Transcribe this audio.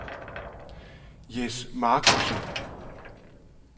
Jes Marcussen